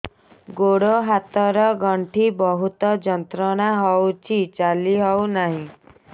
ଗୋଡ଼ ହାତ ର ଗଣ୍ଠି ବହୁତ ଯନ୍ତ୍ରଣା ହଉଛି ଚାଲି ହଉନାହିଁ